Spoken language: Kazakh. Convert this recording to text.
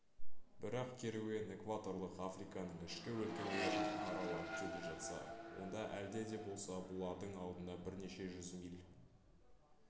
бірақ керуен экваторлық африканың ішкі өлкелерін аралап келе жатса онда әлде де болса бұлардың алдында бірнеше жүз миль